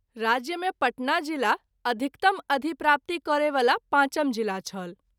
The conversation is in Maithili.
राज्य मे पटना जिला अधिकतम अधिप्राप्ति करय वाला पाँचम जिला छल।